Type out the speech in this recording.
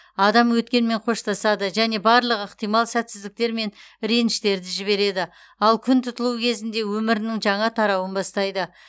адам өткенмен қоштасады және барлық ықтимал сәтсіздіктер мен реніштерді жібереді ал күн тұтылу кезінде өмірінің жаңа тарауын бастайды